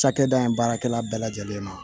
Cakɛda in baarakɛla bɛɛ lajɛlen ma